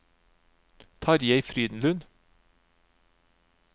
Tarjei Frydenlund